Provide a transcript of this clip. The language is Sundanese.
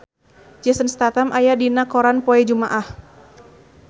Jason Statham aya dina koran poe Jumaah